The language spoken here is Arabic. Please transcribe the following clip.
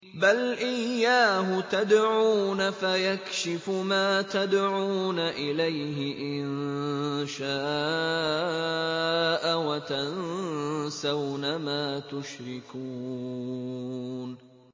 بَلْ إِيَّاهُ تَدْعُونَ فَيَكْشِفُ مَا تَدْعُونَ إِلَيْهِ إِن شَاءَ وَتَنسَوْنَ مَا تُشْرِكُونَ